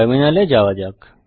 terminal এ যাত্তয়া যাক